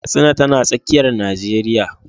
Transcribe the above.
Katsina tana tsakiyar Najeriya.